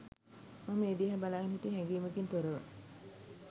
මම ඒ දිහා බලාගෙන හිටියේ හැඟීමකින් තොරව